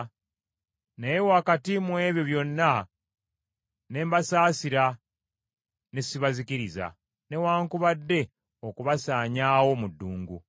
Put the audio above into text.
Naye wakati mu ebyo byonna ne mbasaasira ne sibazikiriza, newaakubadde okubasaanyaawo mu ddungu.